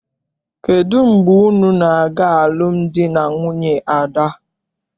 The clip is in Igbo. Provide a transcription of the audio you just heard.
Kedụ mgbe unu na-aga alụmdi na nwunye Ada?